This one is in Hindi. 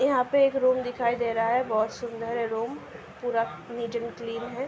यहाँ पे एक रूम दिखाई दे रहा है। बहोत सुंदर है रूम। पूरा नीट एंड क्लीन है।